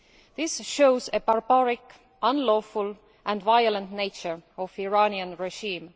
This shows the barbaric, unlawful and violent nature of the Iranian regime.